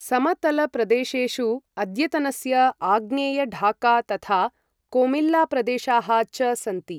समतलप्रदेशेषु अद्यतनस्य आग्नेय ढाका तथा कोमिल्लाप्रदेशाः च सन्ति।